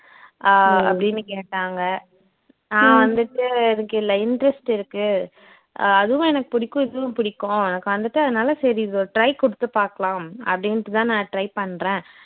அஹ் அப்படின்னு கேட்டாங்க நான் வந்துட்டு எனக்கு இதுல interest இருக்கு அஹ் அதுவும் எனக்கு பிடிக்கும் இதுவும் பிடிக்கும் எனக்கு வந்துட்டு அதனால சரி இது ஒரு try கொடுத்து பார்க்கலாம் அப்படின்டு தான் நான் try பண்ணுறேன்